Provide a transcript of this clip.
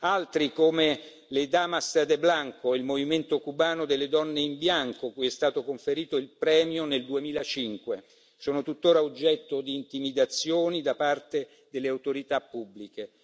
Altri, come le Damas de Blanco, il movimento cubano delle donne in bianco, cui è stato conferito il premio nel 2005, sono tuttora oggetto di intimidazioni da parte delle autorità pubbliche.